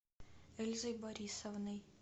эльзой борисовной